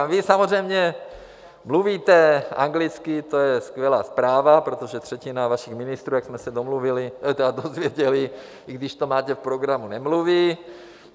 Ale vy samozřejmě mluvíte anglicky, to je skvělá zpráva, protože třetina vašich ministrů, jak jsme se dozvěděli, i když to máte v programu, nemluví.